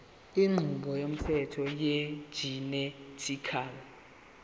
inqubo yomthetho wegenetically